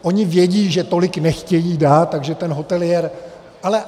Oni vědí, že tolik nechtějí dát, takže ten hoteliér...